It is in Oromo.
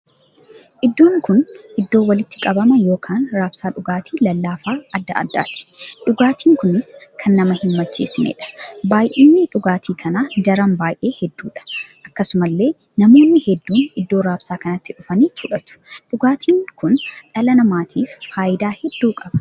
Iddoon kun iddoo walitti qabama ykn raabsaa dhugaatii lallaafaa addaa addaatti. dhugaatiin kunis kan nama hin macheesineedha. baay'inni dhugaatii kanaa daran baay'ee hedduudha. akkasumallee namoonni hedduun iddoo raabsa kanaati dhufanii fudhatu. dhugaatiin kun dhala namaatiif faayidaa hedduu qaba.